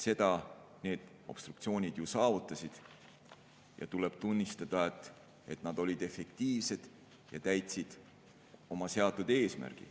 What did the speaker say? Seda need obstruktsioonid ju saavutasid ja tuleb tunnistada, et nad olid efektiivsed ja täitsid oma seatud eesmärgi.